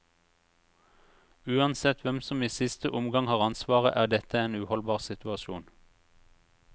Uansett hvem som i siste omgang har ansvaret, er dette en uholdbar situasjon.